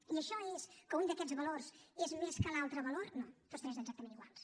i això és que un d’aquests valors és més que l’altre valor no tots tres exactament iguals